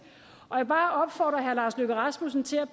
og jeg vil bare opfordre herre lars løkke rasmussen til at